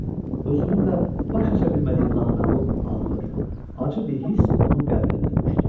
Özünün də başa aça bilmədiyi naməlum, ağır, acı bir hiss onun qəlbini bürümüşdü.